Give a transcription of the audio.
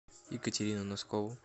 екатерину носкову